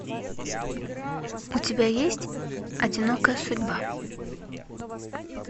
у тебя есть одинокая судьба